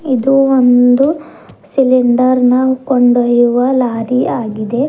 ಇದು ಒಂದು ಸಿಲಿಂಡರ್ ನ ಕೊಂಡೊಯ್ಯುವ ಲಾರಿ ಆಗಿದೆ.